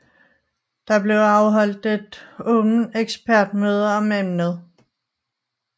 Der blev afholdt et åbent ekspertmøde om emnet